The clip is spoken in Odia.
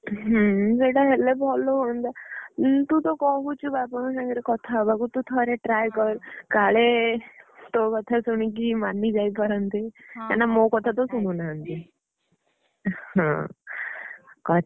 ହୁଁ ସେଇଟା ହେଲେ ଭଲ ହୁଅନ୍ତା। ଉଁ ତୁ ତ କହୁଛୁ ବାବାଙ୍କ ସାଙ୍ଗରେ କଥା ହବାକୁ ତୁ ଥରେ try କର କାଳେ ତୋ କଥା ଶୁଣିକି ମାନି ଯାଇପାରନ୍ତି। କାରଣ ମୋ କଥାତ ଶୁଣୁ ନାହାଁନ୍ତି। ହଁ କଥା।